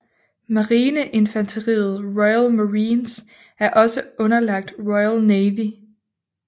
Marineinfanteriet Royal Marines er også underlagt Royal Navy